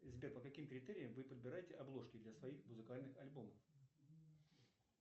сбер по каким критериям вы подбираете обложки для своих музыкальных альбомов